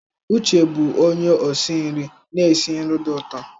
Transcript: Uche bụ onye osi nri na-esi nri dị ụtọ.